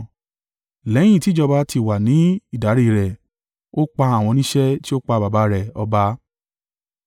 Lẹ́yìn tí ìjọba ti wà ní ìdarí rẹ̀, ó pa àwọn oníṣẹ́ tí ó pa baba rẹ̀ ọba.